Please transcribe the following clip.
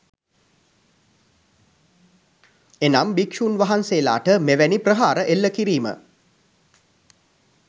එනම් භික්ෂූන් වහන්සේලාට මෙවැනි ප්‍රහාර එල්ල කිරීම